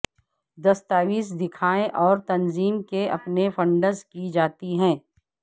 دستاویز دکھائے اور تنظیم کے اپنے فنڈز کی جاتی ہے